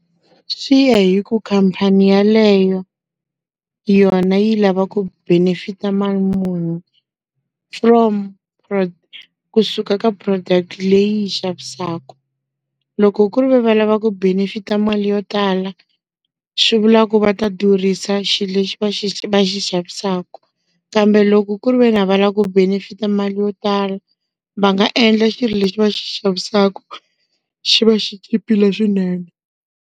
Swi ya hi ku khamphani yaleyo, yona yi lava ku benefit mali muni. From kusuka ka product-i leyi yi xavisaku. Loko kurive va lava ku benefit-a mali yo tala, swi vula ku va ta durhisa xilo lexi va va xi xavisaku. Kambe loko kuriveni a va lava ku benefit mali yo tala, va nga endla xilo lexi va xi xavisaku, xi va xi chipile swinene.